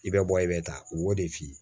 I bɛ bɔ i bɛ taa u b'o de f'i ye